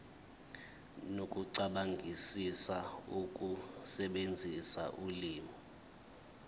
nokucabangisisa ukusebenzisa ulimi